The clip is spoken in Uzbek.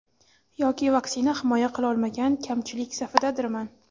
Yoki vaksina himoya qilolmagan kamchilik safidadirman.